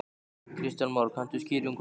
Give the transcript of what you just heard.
Kristján Már: Kanntu skýringu á því?